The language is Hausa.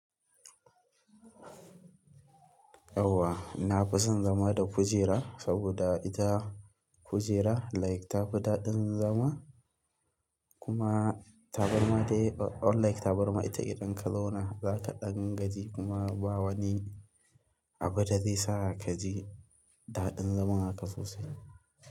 Yawwa, na fi son zama da kujera saboda ita kujera like ta fi daɗin zama kuma tabarma dai unlike tabarma ita idan ka zauna, zaka ɗan gaji kuma ba wani abu da zai sa ka ji daɗin zaman haka sosai.